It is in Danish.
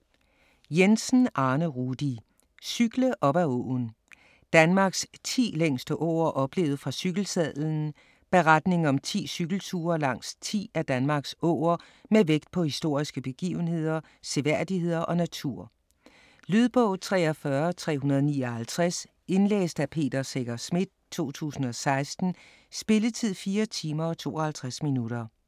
Jensen, Arne Rudi: Cykle op ad åen: Danmarks 10 længste åer oplevet fra cykelsadlen Beretning om 10 cykelture langs 10 af Danmarks åer med vægt på historiske begivenheder, seværdigheder og natur. Lydbog 43359 Indlæst af Peter Secher Schmidt, 2016. Spilletid: 4 timer, 52 minutter.